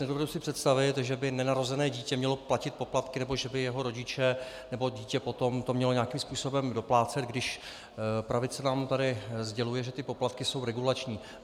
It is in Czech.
Nedovedu si představit, že by nenarozené dítě mělo platit poplatky nebo že by jeho rodiče nebo dítě potom to měli nějakým způsobem doplácet, když pravice nám tady sděluje, že ty poplatky jsou regulační.